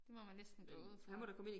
Det må man næsten gå ud fra